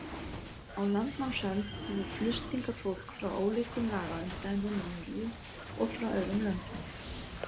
Á landnámsöld hefur flust hingað fólk frá ólíkum lagaumdæmum í Noregi og frá öðrum löndum.